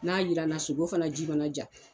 N'a jiranna sogo fana ji mana ja